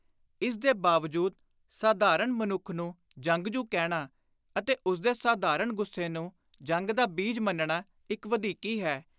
ਇਸ ਦੇ ਬਾਵਜੂਦ ਸਾਧਾਰਣ ਮਨੁੱਖ ਨੂੰ ਜੰਗਜੂ ਕਹਿਣਾ ਅਤੇ ਉਸਦੇ ਸਾਧਾਰਣ ਗੁੱਸੇ ਨੂੰ ਜੰਗ ਦਾ ਬੀਜ ਮੰਨਣਾ ਇਕ ਵਧੀਕੀ ਹੈ;